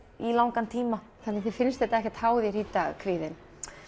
í langan tíma þannig þér finnst þetta ekkert há þér í dag kvíðinn